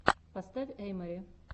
поставь эй мори